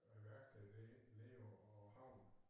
Og værksted det nede på på havnen